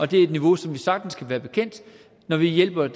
det er et niveau som vi sagtens kan være bekendt når vi hjælper